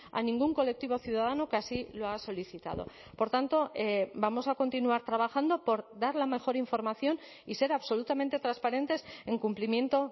a ningún colectivo ciudadano que así lo ha solicitado por tanto vamos a continuar trabajando por dar la mejor información y ser absolutamente transparentes en cumplimiento